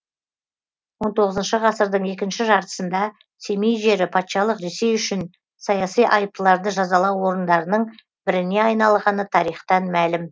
он тоғызыншы ғасырдың екінші жартысында семей жері патшалық ресей үшін саяси айыптыларды жазалау орындарының біріне айналғаны тарихтан мәлім